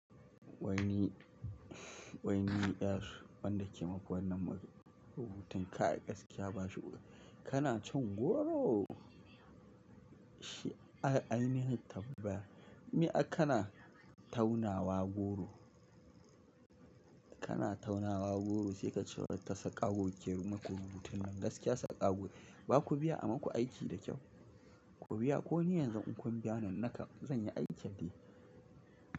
Wai ni, wai ni yar wanda ke yi maku wannan rubutun kai gaskiya ban shigo ba. Kana cin goro? Shine ai, ainihin tambaya. Me akka na taunawa goro? Kana taunawa goro sai ka ce wa ta sakago ke muku rubutun nan, gaskiya sakago ne. Baku biya a maku aiki da kyau. Ku biya ko ni yanzu in kun biya ni, naka zan yi aikin.